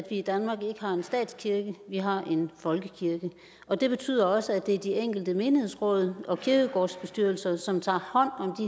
i danmark ikke har en statskirke vi har en folkekirke og det betyder også at det er de enkelte menighedsråd og kirkegårdsbestyrelser som tager hånd om